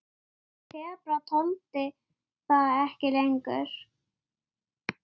Fólk dettur ekkert í sundur.